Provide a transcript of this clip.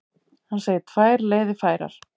Hann segir tvær leiðir færar.